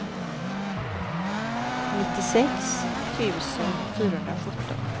nittiosex tusen fyrahundrasjutton